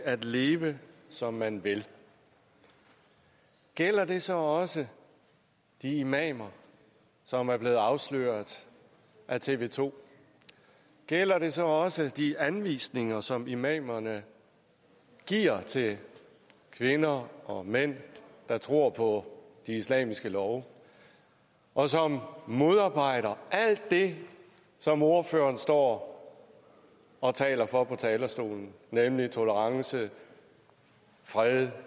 at leve som man vil gælder det så også de imamer som er blevet afsløret af tv 2 gælder det så også de anvisninger som imamerne giver til kvinder og mænd der tror på de islamiske love og som modarbejder alt det som ordføreren står og taler for på talerstolen nemlig tolerance fred